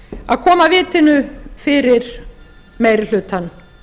að koma vatni fyrir meiri hlutann